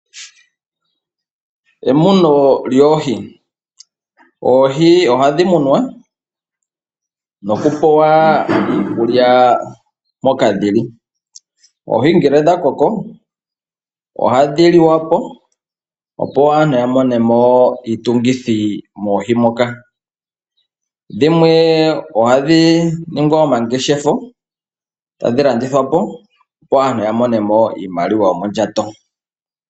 Emuno lyoohi Oohi ohadhi munwa nokupelwa mo iikulya moka dhi li. Oohi shampa dha koko ohadhi liwa po, opo aantu ya mone mo iitungithi. Dhimwe ohadhi ngeshefwa po, tadhi landithwa po, opo aantu ya mone mo iimaliwa yomondjato.